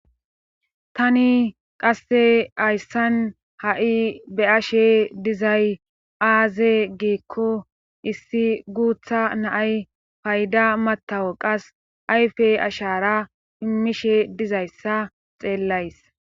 Tani qasse hayssan ha'i be ashe dizay aaze giikko issi guutha naay payda matawo qas ayfe ashara immishe dizayssa xeellays.